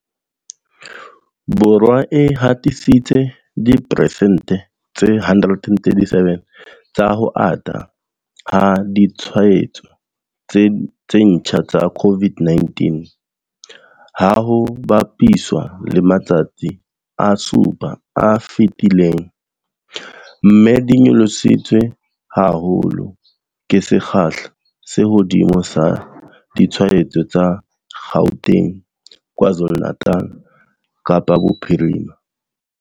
Borwa e hatisitse diperesente tse 137 tsa ho ata ha ditshwaetso tse ntjha tsa COVID-19, ha ho bapiswa le matsatsi a supa a fetileng, mme di nyolositswe haholo ke sekgahla se hodimo sa ditshwaetso tsa Gauteng, KwaZulu-Natal, Kapa Bophirima.